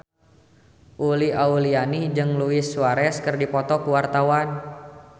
Uli Auliani jeung Luis Suarez keur dipoto ku wartawan